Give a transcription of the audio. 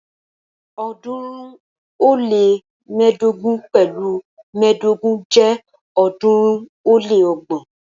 ọ̀ọ́dúnrún ó lé mẹ́ẹ̀ẹ́dógún pẹ̀lu mẹ́ẹ̀ẹ́dógún jẹ́ ọ̀ọ́dúnrún ó lé ọgbọ̀n.